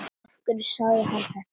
Af hverju sagði hann þetta?